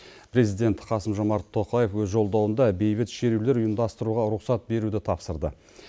президент қасым жомарт тоқаев өз жолдауында бейбіт шерулер ұйымдастыруға рұқсат беруді тапсырды